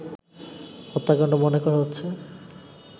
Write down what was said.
হত্যাকাণ্ড মনে করা হচ্ছে